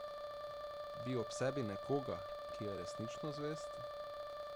Bi ob sebi nekoga, ki je resnično zvest?